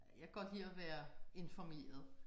Jeg kan godt lide at være informeret